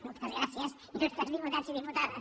moltes gràcies il·lustres diputats i diputades